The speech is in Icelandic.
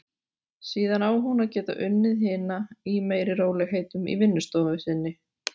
Síðan á hún að geta unnið hina í meiri rólegheitum í vinnustofu sinni.